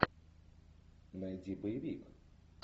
найди боевик